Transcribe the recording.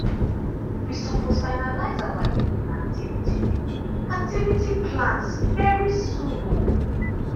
we suppose finalize our evening activity activity plans very soon um